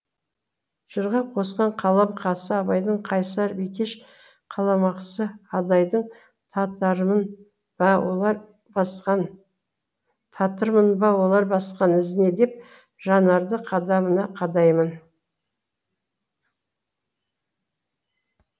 жырға қосқан қаламқасы абайдың қайсар бикеш қаламақасы адайдың татырмын ба олар басқан ізіне деп жанарды қадамына қадаймын